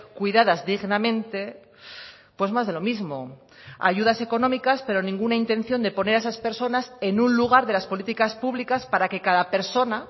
cuidadas dignamente pues más de lo mismo ayudas económicas pero ninguna intención de poner a esas personas en un lugar de las políticas públicas para que cada persona